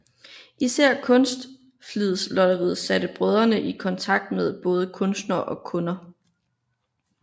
Især Kunstflidslotteriet satte brødrene i kontakt med både kunstnere og kunder